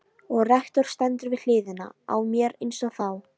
Og rektor stendur við hliðina á mér einsog þá.